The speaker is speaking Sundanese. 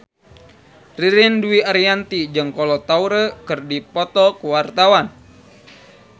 Ririn Dwi Ariyanti jeung Kolo Taure keur dipoto ku wartawan